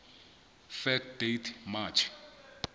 fact date march